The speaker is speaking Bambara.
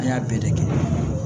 An y'a bɛɛ de kɛ